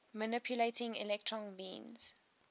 manipulating electron beams